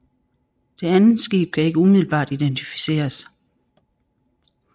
Det andet skib kan ikke umiddelbart identificeres